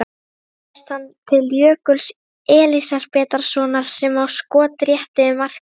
Þar berst hann til Jökuls Elísabetarsonar sem á skot rétt yfir markið.